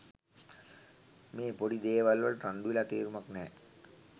මේ පොඩි දේවල් වලට රණ්ඩු වෙලා තේරුමක් නැහැ